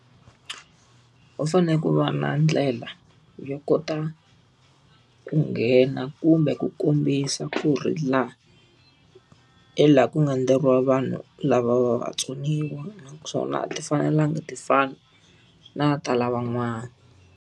Ku u fanele ku va na ndlela yo kota ku nghena kumbe ku kombisa ku ri laha, hi laha ku nga endleriwa vanhu lava va vatsoniwa naswona a ti fanelanga ti fana na ta lavan'wana.